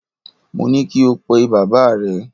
Mo ní kí o pe bàbáà rẹ!